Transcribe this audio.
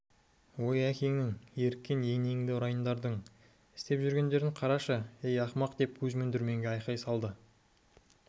ой әкеңнің еріккен енеңді ұрайындардың істеп жүргенін қарашы ей ақымақ деп кузьмин дүрменге айқай салды тиісесің